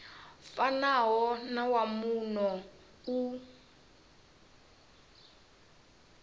fanaho na wa muno u